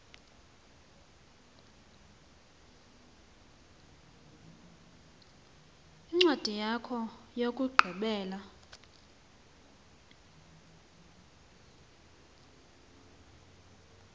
incwadi yakho yokugqibela